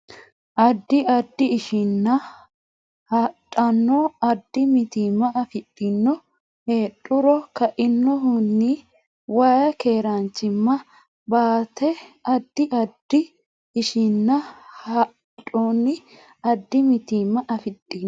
Addi addi ishininninna hadhonni addi mitiimma afidhino heedhuro kainohunni way keeraanchimma ba ate Addi addi ishininninna hadhonni addi mitiimma afidhino.